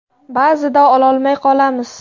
Ba’zida ololmay qolamiz.